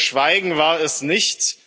Ihr Schweigen war es nicht.